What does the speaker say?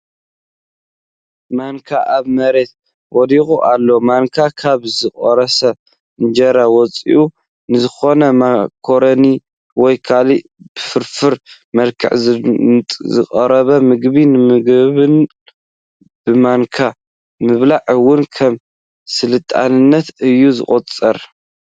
ማንካ ኣብ መሬት ወዲቓ ኣላ፡፡ ማንካ ካብ ዝቑረስ እንጀራ ወፃኢ ንዝኾኑ ማካሮኒ ወይ ካልእ ብፍርፍር መልክዑ ንዝቐርብ ምግቢ ንምገበሉ፡፡ ብማንካ ምብላዕ እውን ከም ስልጡንነት እዩ ዝቑፀር፡፡